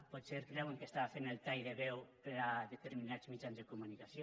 potser creuen que estava fent el tall de veu per a determinats mitjans de comunicació